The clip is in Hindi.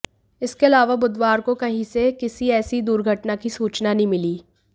इसके अलावा बुधवार को कहीं से किसी ऐसी दुर्घटना की सूचना नहीं मिली